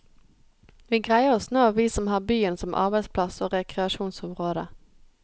Vi greier oss nå, vi som har byen som arbeidsplass og rekreasjonsområde.